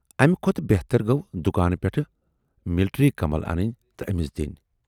امہِ کھۅتہٕ بہتر گَو دُکانہٕ پٮ۪ٹھٕ مِلٹری کمل اَنٕنۍ تہٕ ٲمِس دِنۍ۔